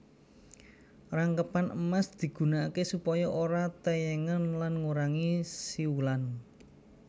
Rangkepan emas digunakaké supaya ora tèyèngen lan ngurangi siulan